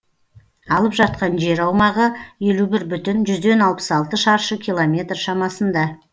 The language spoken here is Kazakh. алып жатқан жер аумағы елу бір бүтін жүзден алпыс алты шаршы километр шамасында